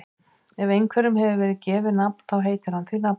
Ef einhverjum hefur verið gefið nafn þá heitir hann því nafni.